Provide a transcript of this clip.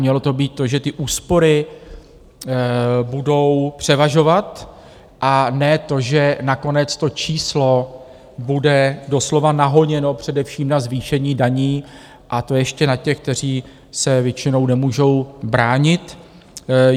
Mělo to být to, že ty úspory budou převažovat a ne to, že nakonec to číslo bude doslova nahoněno především na zvýšení daní, a to ještě na těch, kteří se většinou nemůžou bránit.